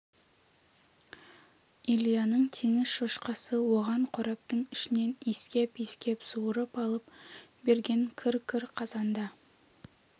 ильяның теңіз шошқасы оған қораптың ішінен иіскеп-иіскеп суырып алып берген кір-кір қағазда